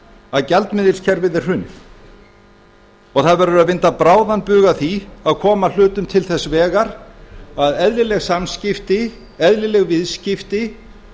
að gjaldmiðilskerfið er hrunið og það verður að vinda bráðan bug að því að koma hlutum til þess vegar að eðlileg samskipti eðlileg viðskipti